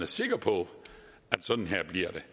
sikker på sådan her